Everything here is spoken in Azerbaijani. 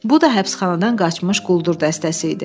Bu da həbsxanadan qaçmış quldur dəstəsi idi.